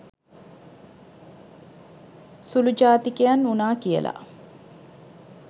සුළු ජාතිකයන් වුණා කියලා